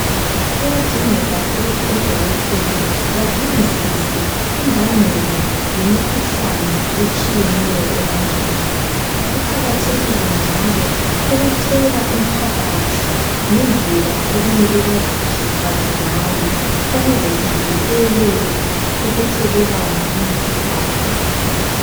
Kuyadingeka ukuthi odokotela badingisise imbangela yemikhuhlane etshiyeneyo ebantwini kuqakathekile njalo ukutshela umphakathi ngendlela okumele baziphathengayo ukuze zivikele ukuthelelana imikhuhlane le.